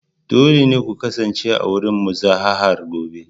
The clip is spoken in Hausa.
Dole ne ku kasance a wurin muzaharar gobe